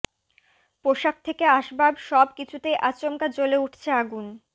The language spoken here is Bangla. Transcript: পোশাক থেকে আসবাব সব কিছুতেই আচমকা জ্বলে উঠছে আগুন